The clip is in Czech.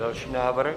Další návrh.